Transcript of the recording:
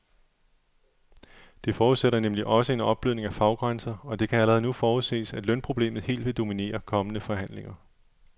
Det forudsætter nemlig også en opblødning af faggrænser, og det kan allerede nu forudses, at lønproblemet helt vil dominere kommende forhandlinger.